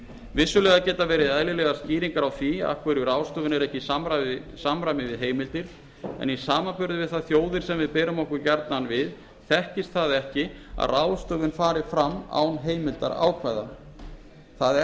vissulega geta verið eðlilegar skýringar á því af hverju ráðstöfun er ekki í samræmi við heimildir en í samanburði við þær þjóðir sem við berum okkur gjarnan við þekkist það ekki að ráðstöfun fari fram án heimildarákvæða það er